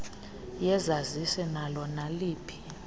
yesazisi nalo naliphi